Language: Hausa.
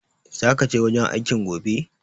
Zaka je wajen aikin gobe?